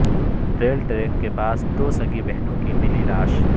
rail track کے پاس دو سگی بہنوں کی ملی لاش